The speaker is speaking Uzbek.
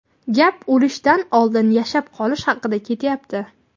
gap "o‘lishdan oldin yashab qolish" haqida ketyapti.